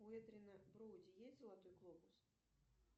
у эдриана броуди есть золотой глобус